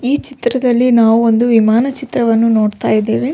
ಈ ಚಿತ್ರದಲ್ಲಿ ನಾವು ಒಂದು ವಿಮಾನ ಚಿತ್ರವನ್ನು ನೋಡ್ತಾ ಇದ್ದೇವೆ.